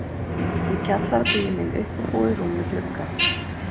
Í kjallara bíður mín uppbúið rúm í glugga